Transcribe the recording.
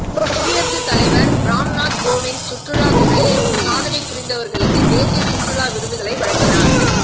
குடியரசு தலைவர் ராம்நாத் கோவிந்த் சுற்றுலா துறையில் சாதனை புரிந்தவர்களுக்கு தேசிய சுற்றுலா விருதுகளை வழங்கினார்